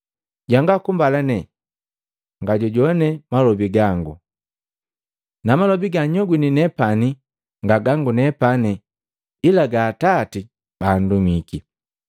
Jwanga kumbalane ngajujowane malobi gango. Namalobi gannyogwini nepani nga gangu nepani, ila gaa Atati baandumiki.”